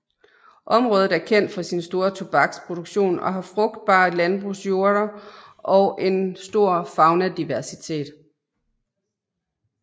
Området er kendt for sin store tobaksproduktion og har frugtbare landbrugsjorder og en stor faunadiversitet